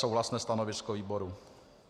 Souhlasné stanovisko výboru.